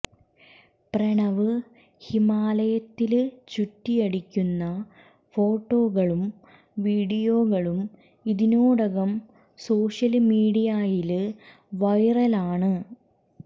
പ്രണവ് ഹിമാലയത്തില് ചുറ്റിയടിക്കുന്ന ഫോട്ടോകളും വീഡിയോകളും ഇതിനോടകം സോഷ്യല് മീഡിയയില് വൈറലാണ്